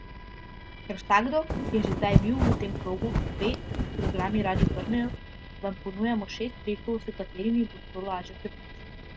Ker vsakdo, ki je že kdaj bil v tem krogu, ve, da se kilogrami radi vrnejo, vam ponujamo šest trikov, s katerimi bo to lažje preprečiti.